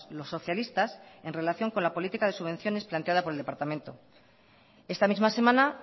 los socialistas en relación con la política de subvenciones planteada por el departamento esta misma semana